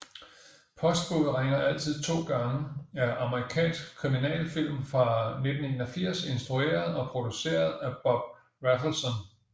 Postbudet ringer altid to gange er amerikansk kriminalfilm fra 1981 instrueret og produceret af Bob Rafelson